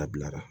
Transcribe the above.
A bilara